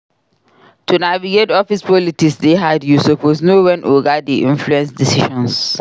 To navigate office politics dey hard you suppose know wen oga dey influence decisions.